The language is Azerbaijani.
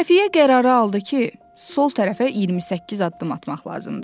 Xəfiyyə qərarı aldı ki, sol tərəfə 28 addım atmaq lazımdır.